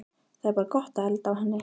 Það er bara gott að elda á henni